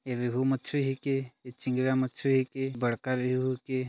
एदे उहु मछरी के चिंगरा मछरीह के बड़का रोहू के--